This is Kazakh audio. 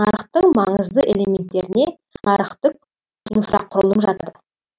нарықтың маңызды элементтеріне нарықтық инфрақұрылым жатады